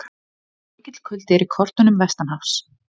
Mikill kuldi er í kortunum vestanhafs